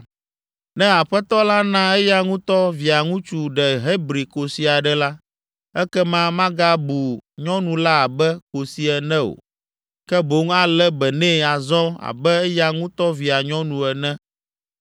Ne aƒetɔ la na eya ŋutɔ Via ŋutsu ɖe Hebri kosi aɖe la, ekema magabu nyɔnu la abe kosi ene o, ke boŋ alé be nɛ azɔ abe eya ŋutɔ via nyɔnu ene.